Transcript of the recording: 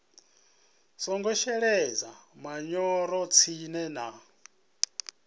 songo shelesa manyoro tsini na